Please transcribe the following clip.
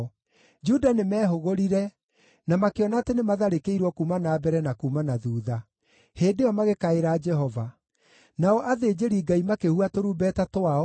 Juda nĩmehũgũrire na makĩona atĩ nĩmatharĩkĩirwo kuuma na mbere na kuuma na thuutha. Hĩndĩ ĩyo magĩkaĩra Jehova. Nao athĩnjĩri-Ngai makĩhuha tũrumbeta twao,